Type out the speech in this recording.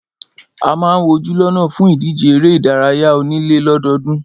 A máà ń wojú lọ́nà fún ìdíje eré ìdárayá onílé lọ́dọọ́dún.